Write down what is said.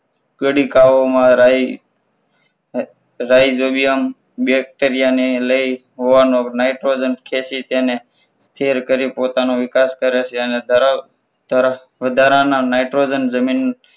કાલિકા ઓમાં રહી જોઈએ આમ bacteria ને લઈ હોવાનો nitrogen ખેંચી તેને પોતાનો વિકાસ કરે છે અને તરત જ વધારાના nitrogen ને જમીન